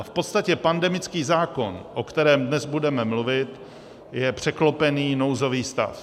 A v podstatě pandemický zákon, o kterém dnes budeme mluvit, je překlopený nouzový stav.